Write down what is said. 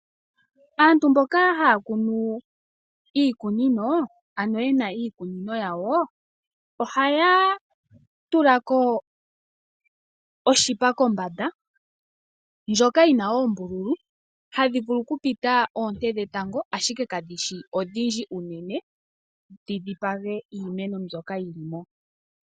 Aantu mboka ye na iikunino yawo, ohaa tula ko onete kombanda. Ohayi kala yi na oombululu hadhi vulu okupita oonte dhetango, ashike kadhi shi odhindji unene dhi dhipage iimeno mbyoka yi li mo.